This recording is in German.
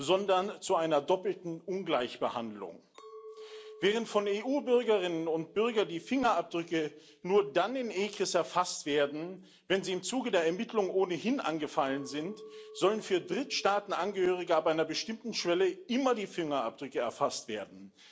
sondern zu einer doppelten Ungleichbehandlung Während von EU Bürgerinnen und Bürgern die Fingerabdrücke nur dann in ECRIS erfasst werden, wenn sie im Zuge der Ermittlungen ohnehin angefallen sind, sollen für Drittstaatenangehörige ab einer bestimmten Schwelle immer die Fingerabdrücke erfasst werden.